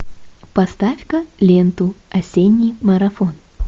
поставь ка ленту осенний марафон